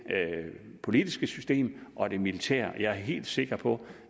politiske system og det militære jeg er helt sikker på